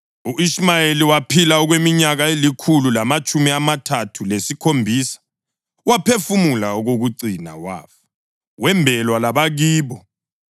U-Ishumayeli waphila okweminyaka elikhulu lamatshumi amathathu lesikhombisa. Waphefumula okokucina wafa, wembelwa labakibo.